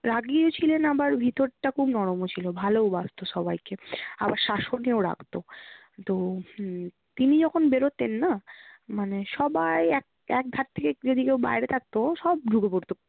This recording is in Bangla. রাগিও ছিলেন আবার ভিতরটা খুব নরমও ছিল ভালোওবাসতো সবাইকে আর শাসনেও রাখতো। তো উম তিনি যখন বেরোতেন না মানে সবাই এক ~একধার থেকে যদি কেউ বাইরে থাকতো সব ঢুকে পড়তো